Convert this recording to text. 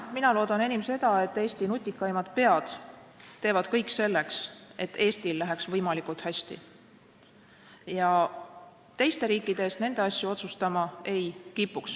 Mina loodan enim seda, et Eesti nutikaimad pead teevad kõik selleks, et Eestil läheks võimalikult hästi, ja teiste riikide eest nende asju otsustama ei kipuks.